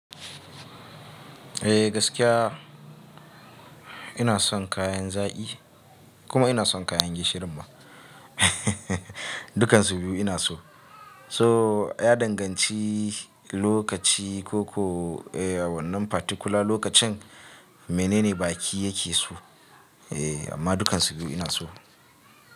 Eh gaskiya ina son kayan zaƙi kuma ina son kayan gishirin ma dukansu biyu ina so. So ya danganci lokaci ko ko wannan particular lokacin menene baki yake so eh amma dukansu biyu ina so.